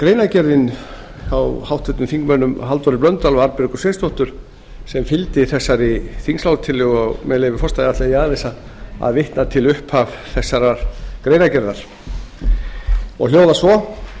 greinargerðin hjá háttvirtum þingmanni halldóri blöndal og arnbjörgu sveinsdóttur sem fylgdi þessari þingsályktunartillögu og með leyfi forseta ætla ég aðeins að vitna til upphafs þessarar greinargerðar hún hljóðar svo